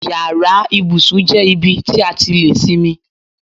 Yàrá ibùsùn jẹ́ ibi tí a ti lè sinmi.